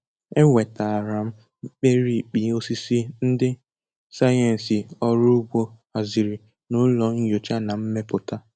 E nwetara m mkpirikpi osisi ndi sayensị ọrụ ugbo haziri na ụlọ nyocha na mmepụta